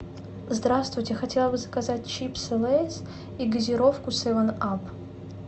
здравствуйте хотела бы заказать чипсы лейс и газировку севен ап